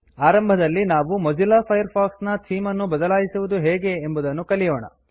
ಆರಂಭದಲ್ಲಿ ನಾವು Mozilla Firefox ನ ಥೀಮ್ ಅನ್ನು ಬದಲಾಯಿಸುವುದು ಹೇಗೆ ಎಂಬುದನ್ನು ಕಲಿಯೋಣ